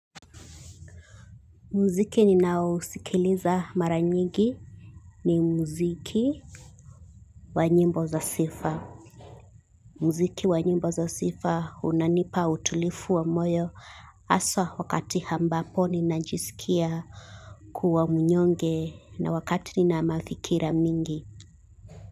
Muziki ni naousikiliza maranyingi ni muziki wanyimbo za sifa. Muziki wanyimbo za sifa unanipa utulifu wa moyo aswa wakati hambapo ni najisikia kuwa mnyonge na wakati nina mafikira mingi.